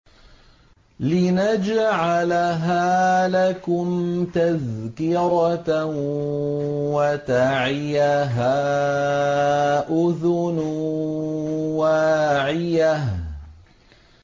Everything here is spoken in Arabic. لِنَجْعَلَهَا لَكُمْ تَذْكِرَةً وَتَعِيَهَا أُذُنٌ وَاعِيَةٌ